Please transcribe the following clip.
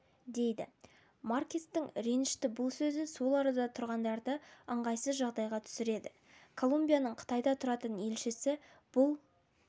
дейді маркестің ренішті бұл сөзі сол арада тұрғандарды ыңғайсыз жағдайға түсіреді колумбияның қытайда тұратын елшісі бұл